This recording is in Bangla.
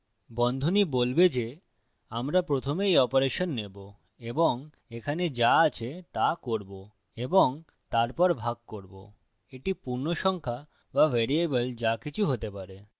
বন্ধনী বলবে theআমরা প্রথমে এই অপারেশন নেবো এবং এখানে the আছে the করবো এবং তারপর ভাগ করবো the পূর্ণসংখ্যা be ভ্যারিয়েবল the কিছু হতে পারে